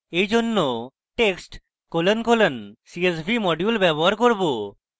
এইজন্য text colon colon csv module ব্যবহার csv